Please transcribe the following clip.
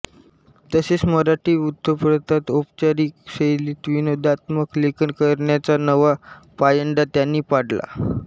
तसेच मराठी वृत्तपत्रात औपचारिक शैलीत विनोदात्मक लेखन करण्याचा नवा पायंडा त्यांनी पाडला